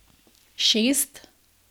Šest?